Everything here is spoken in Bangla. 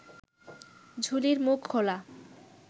ঝুলির মুখ খোলা